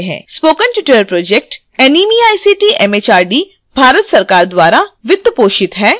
spoken tutorial project NMEICT MHRD Bharat सरकार द्वारा वित्त पोषित है